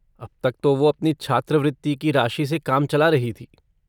अब तक तो वो अपनी छात्रवृत्ति की राशि से काम चला रही थी।